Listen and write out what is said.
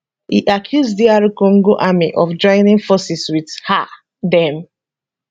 e accuse dr congo army of joining forces wit um dem